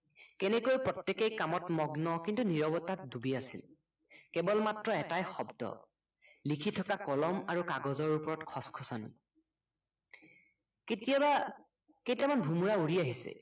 কেনেকৈ প্ৰত্য়েকেই কামত মগ্ন কিন্তু নিৰৱতাত ডুবি আছিল কেৱল মাত্ৰ এটাই শব্দ, লিখি থকা কলম আৰু কাগজৰ ওপৰত খচ্খচ্নি কেতিয়াবা কেইটামান ভোমোৰা উৰি আহিছে